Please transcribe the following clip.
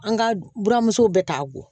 An ka buramuso bɛ ta ko